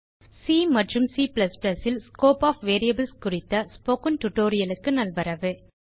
C and C ல் scope of variables குறித்த spoken tutorial க்கு நல்வரவு